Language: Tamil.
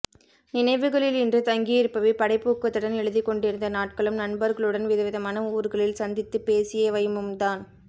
நினைவுகளில் இன்று தங்கியிருப்பவை படைப்பூக்கத்துடன் எழுதிக்கொண்டிருந்த நாட்களும் நண்பர்களுடன் விதவிதமான ஊர்களில் சந்தித்துப்பேசியவையும்தான்